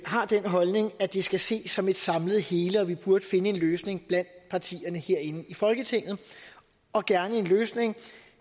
har den holdning at det skal ses som et samlet hele og at vi burde finde en løsning blandt partierne herinde i folketinget og gerne en løsning